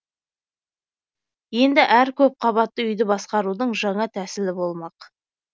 енді әр көп қабатты үйді басқарудың жаңа тәсілі болмақ